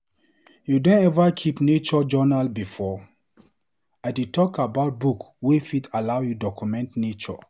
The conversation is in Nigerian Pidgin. You don ever keep nature journal before? I dey talk about book wey fit allow you document nature.